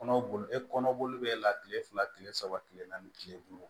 Kɔnɔ boli e kɔnɔ be e la kile fila kile saba kile naani kile duuru